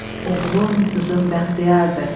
Oğlun, qızın bəxtiyardır.